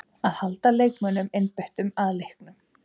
Að halda leikmönnunum einbeittum að leiknum.